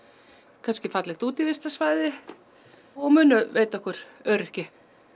kannski fallegt útivistarsvæði og munu veita okkur öryggi